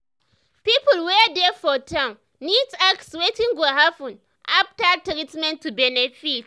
people wey dey for town need ask wetin go happen after treatment to benefit.